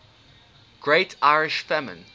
great irish famine